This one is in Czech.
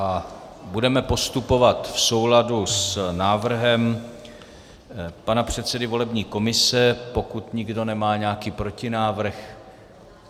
A budeme postupovat v souladu s návrhem pana předsedy volební komise, pokud nikdo nemá nějaký protinávrh.